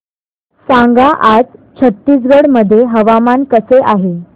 सांगा आज छत्तीसगड मध्ये हवामान कसे आहे